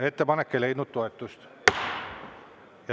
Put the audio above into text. Ettepanek ei leidnud toetust.